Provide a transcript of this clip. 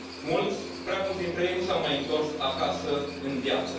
Mulți, prea mulți dintre ei nu s au mai întors acasă în viață.